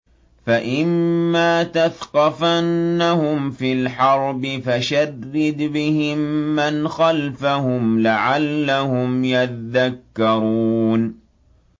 فَإِمَّا تَثْقَفَنَّهُمْ فِي الْحَرْبِ فَشَرِّدْ بِهِم مَّنْ خَلْفَهُمْ لَعَلَّهُمْ يَذَّكَّرُونَ